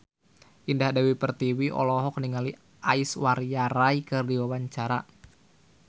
Indah Dewi Pertiwi olohok ningali Aishwarya Rai keur diwawancara